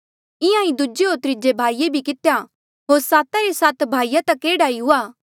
इंहां ईं दूजे होर त्रीजे भाईये भी कितेया होर साता रे सात भाईया तक एह्ड़ा ई हुआ